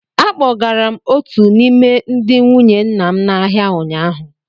Akpọgara m otu n’ime ndị nwunye nna m n'ahịa ụnyaahụ.